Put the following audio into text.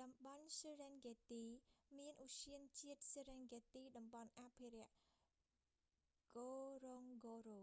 តំបន់ serengeti សេរិនហ្គេតទី មានឧទ្យានជាតិ serengeti តំបន់អភិរក្ស ngorongoro អង់ហ្គោរ៉ូអង់ហ្គោរ៉ូ